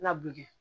Laburi